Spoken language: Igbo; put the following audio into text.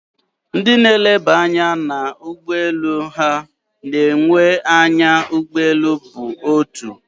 Ndị na eneba anya na ie ụgbọeelu ha na enye na anya ụgbọeelu bụ otu